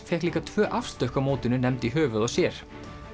fékk líka tvö á mótinu nefnd í höfuðið sér